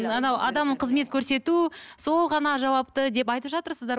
адам қызмет көрсету сол ғана жауапты деп айтып жатырсыздар ғой